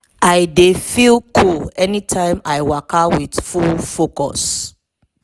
i dey feel cool anytime i waka with full focus.